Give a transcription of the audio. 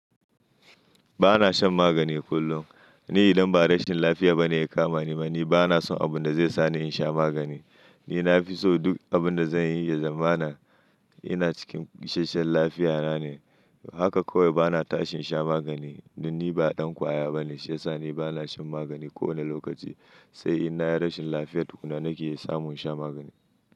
Ba na shan magani kullum. Ni idan ba rashin lafiya ba ne ya kama ni ma ni, ba na so abun da zai sa ni in sha magani. Ni na fi so duk abin da zan yi ya zama na, ina cikin ishashen lafiyana ne. Haka kawai ba na tashin sha magani. Dan ni ba ɗan ƙwaya ba ne, shiyasa ni ba na shan magani kowane lokaci. Sai in na yi rashin lafiya tukuna nake samun sha magani.